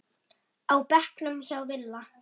á bekknum hjá Villa.